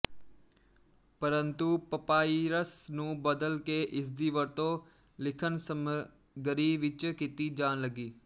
ਪਰੰਤੂ ਪਪਾਇਰਸ ਨੂੰ ਬਦਲ ਕੇ ਇਸਦੀ ਵਰਤੋਂ ਲਿਖਣਸਮੱਗਰੀ ਵਿੱਚ ਕੀਤੀ ਜਾਣ ਲੱਗੀ